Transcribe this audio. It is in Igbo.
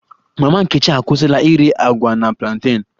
Mama nkechi akwụsịla ire agwa na plantain